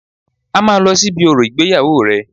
A máa lọ sí ibi orò ìgbéyàwó rẹ̀